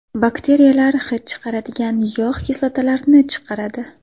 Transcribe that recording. Bakteriyalar hid chiqaradigan yog‘ kislotalarini chiqaradi.